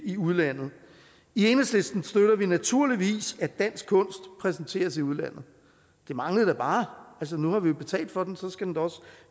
i udlandet i enhedslisten støtter vi naturligvis at dansk kunst præsenteres i udlandet det manglede da bare altså nu har vi jo betalt for den så skal den da også